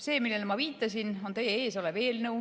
See, millele ma viitasin, on teie ees olev eelnõu.